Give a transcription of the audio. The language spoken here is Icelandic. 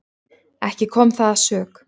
Ekki kom það að sök.